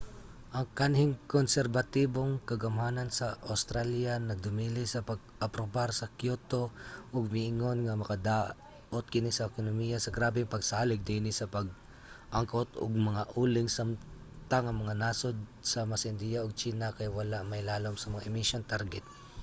ang kanhing konserbatibong kagamhanan sa awstralya nagdumili sa pag-aprobar sa kyoto ug miingon nga makadaot kini sa ekonomiya sa grabeng pagsalig niini sa pag-angkot og mga uling samtang ang mga nasod sama sa indiya ug tsina kay wala mailalom sa mga emissions target